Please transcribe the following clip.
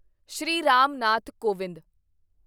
Shri Ram Nath Kovind